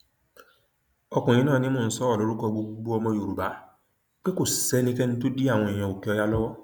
ọkùnrin náà ni mò ń sọrọ lórúkọ gbogbo ọmọ yorùbá pé kò sẹnikẹni tó dí àwọn èèyàn òkèọyà lọwọ